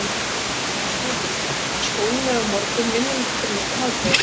Mamma þú skilur ekki, skólinn er á morgnana, vinnan ekki fyrr en eftir hádegið.